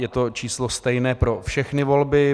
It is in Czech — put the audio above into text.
Je to číslo stejné pro všechny volby.